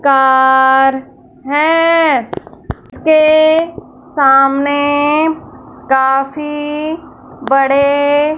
car है उसके सामने काफी बड़े--